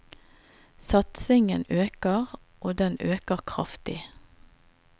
Satsingen øker, og den øker kraftig.